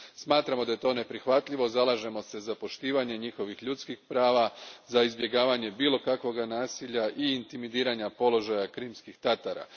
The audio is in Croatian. Smatramo da je to neprihvatljivo, zalažemo se za poštovanje njihovih ljudskih prava, za izbjegavanje bilo kakvog nasilja i intimidiranja položaja Krimskih Tatara.